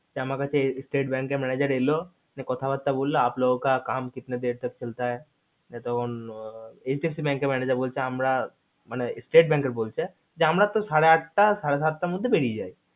তো আমার কাছে এর state bank এর manager এল তো কথা বার্তা হলো তো বোলো যে আপ লোগেকা কাম কিতনে দেড়তক চলতে হায় তখন icc bank এর বলছে আমরা manager বলছে আমরা না মানে state যে আমরা তো আটটা সাড়ে সাত এর মধ্যে বেরিয়ে যাই